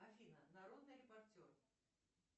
афина народный репортер